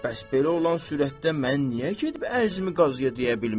Bəs belə olan surətdə mən niyə gedib ərzimi Qazıya deyə bilmirəm?